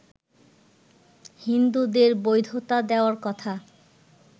হিন্দুদের বৈধতা দেওয়ার কথা